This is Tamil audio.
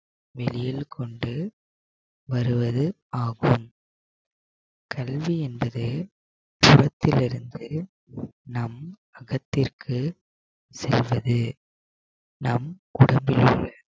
வெளியில் கொண்டு வருவது ஆகும் கல்வி என்பது சுவற்றில் இருந்து நம் அகத்திற்கு செல்வது. நம் உடம்பிலுள்ள